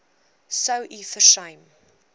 sou u versuim